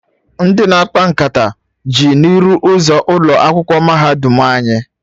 Ndị na-akpa nkata ju n'iru ụzọ ụlọ akwụkwọ mahadum anyị